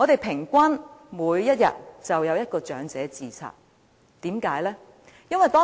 平均每天便有一名長者自殺，為甚麼呢？